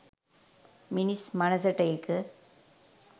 මිනිස් මනසට ඒක